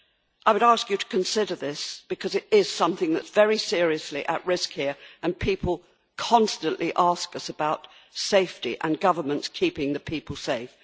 I would ask you to consider this, because it is something that is very seriously at risk here and people constantly ask us about safety and governments keeping the people safe.